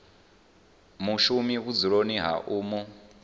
mushumi vhudzuloni ha u mu